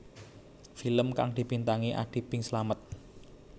Film kang dibintangi Adi Bing Slamet